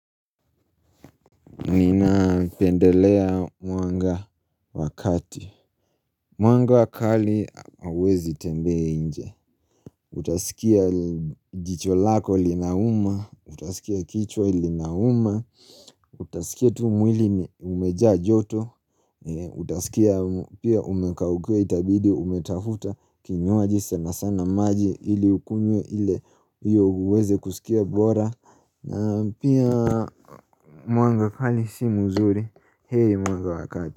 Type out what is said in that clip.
Nina pendelea mwanga wa kati. Mwanga wakali hauwezi tembea nje. Utaskia jicho lako linauma, utaskia kichwa linauma, utaskia tu mwili umejaa joto. Utaskia pia umekaukiwa itabidi umetafuta kinywaji sana sana maji ili ukunywe ile hio uweze kuskia bora. Na pia mwanga kali si muzuri. Heri mwanga wakati.